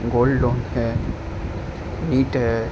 हैं ईट हैं।